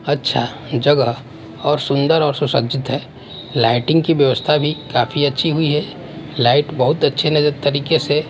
अच्छा जगह और सुंदर और सुसज्जित है लाइटिंग की व्यवस्था भी काफी अच्छी हुई है लाइट बहुत अच्छे नजर तरीके से--